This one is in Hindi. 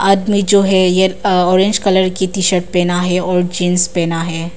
आदमी जो है यह ऑरेंज कलर की टी शर्ट पहना है और जींस पहना है।